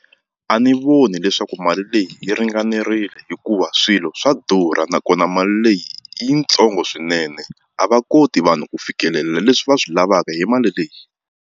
A ni voni leswaku mali leyi yi ringanerile hikuva swilo swa durha nakona mali leyi yitsongo swinene a va koti vanhu ku fikelela leswi va swi lavaka hi mali leyi.